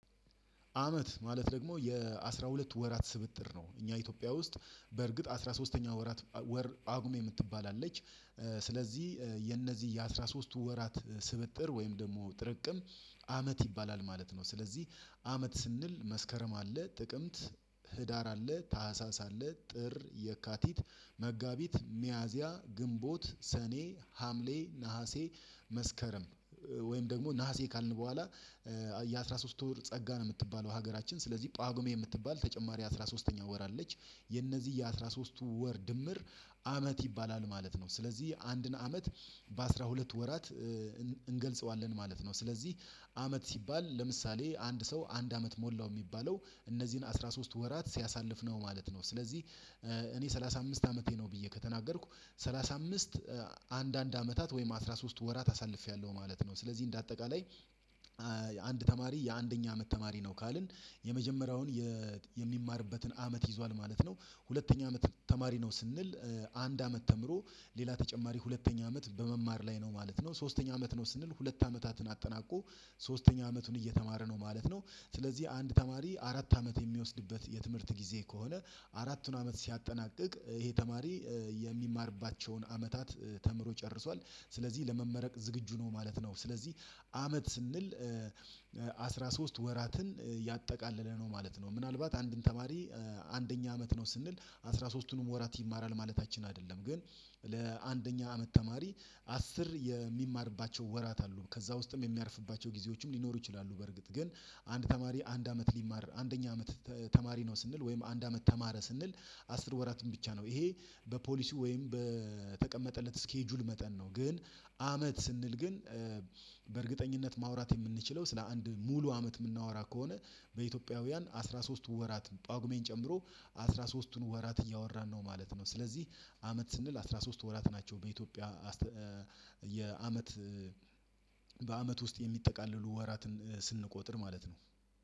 አመት ማለት ደግሞ የአስራሁለቱ ወራት ስብጥር ነው። እኛ ኢትዮጵያ ውስጥ በእርግጥ አስራ ሶስተኛው ወራት ወር ጷጉሜ የምትባል አለች። ስለዚህ የነዚህ የአስራሶስቱ ወራት ስብጥር ወይም ደግሞ ጥርቅም አመት ይባላል ማለት ነው። ስለዚህ አመት ስንል መስከረም አለ። ጥቅምት፣ ህዳር አለ። ታህሳስ አለ። ጥር፣ የካቲት፣ መጋቢት፣ ሚያዚያ፣ ግንቦት፣ ሰኔ፣ ሀምሌ፣ ነሀሴ፣ መስከረም ወይም ደግሞ ነሀሴ ካልን በኋላ የአሥራ ሶስት ወር ጸጋ ነው የምትባለው ሀገራችን። ስለዚህ ጳጉሜ የምትባል ተጨማሪ አስራ ሶስተኛ ወር አለች። የነዚህ የአሥራ ሦስትቱ ወር ድምር አመት ይባላል ማለት ነው። ስለዚህ አንድን አመት በአሥራ ሁለት ወራት እንገልጸዋለን ማለት ነው። ስለዚህ አመት ሲባል ለምሳሌ አንድ ሰው አንድ አመት ሞላው የሚባለው እነዚህን አስራ ሶስት ወራት ሲያሳልፍ ነው ማለት ነው። ስለዚህ እኔ ሰላሳ አምስት አመቴ ነው ብዬ ከተናገርኩ ሰላሳ አምስት አንድ አንድ አመታት ወይም አስራ ሶስት ወራት አሳልፌያለሁ ማለት ነው። ስለዚህ እንደ አጠቃላይ አንድ ተማሪ የአንደኛ አመት ተማሪ ነው ካልን የመጀመሪያውን የሚማርበትን አመት ይዟል ማለት ነው። ሁለተኛ አመት ተማሪ ነው ስንል አንድ አመት ተምሮ ሌላ ተጨማሪ ሁለተኛ አመት በመማር ላይ ነው ማለት ነው። ሶስተኛ አመት ነው ስንል ሁለት አመታትን አጠናቆ ሶስተኛ አመቱን እየተማረ ነው ማለት ነው። ስለዚህ አንድ ተማሪ አራት አመት የሚወስድበት የትምህርት ጊዜ ከሆነ አራቱን አመት ሲያጠናቅቅ ይሄ ተማሪ የሚማርባቸውን አመታት ተምሮ ጨርሷል። ስለዚህ ለመመረቅ ዝግጁ ነው ማለት ነው። ስለዚህ አመት ስንል አስራ ሶስት ወራትን ያጠቃለለ ነው ማለት ነው። ምናልባት አንድን ተማሪ አንደኛ አመት ነው ስንል አስራ ሶስቱንም ወራት ይማራል ማለታችን አይደለም ግን ለአንደኛ አመት ተማሪ አስር የሚማርባቸው ወራት አሉ ከዛ ውስጥም የሚያርፍባቸው ጊዜዎችም ሊኖሩ ይችላሉ። ግን አንድ ተማሪ አንድ አመት ሊማር አንደኛ አመት ተማሪ ነው ስንል ወይም አንድ አመት ተማረ ስንል አስር ወራትን ብቻ ነው። ይሄ በፖሊሲ ወይም በተቀመጠለት ስኬጁል መጠን ነው። ግን አመት ስንል ግን በእርግጠኝነት ማውራት የምንችለው ስለ አንድ ሙሉ አመት የምናወራ ከሆነ በኢትዮጵያውያን አስራ ሶስት ወራት ጳጉሜን ጨምሮ አስራ ሶስቱን ወራት እያወራን ነው ማለት ነው። ስለዚህ አመት ስንል አስራ ሶስት ወራት ናቸው። በኢትዮጵያ አስተ የአመት በአመት ውስጥ የሚጠቃለሉ ወራትን ስንቆጥር ማለት ነው።